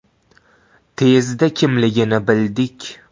Tezda kimligini bildik.